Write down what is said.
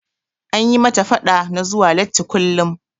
An yi mata faɗa na zuwa latti kullum.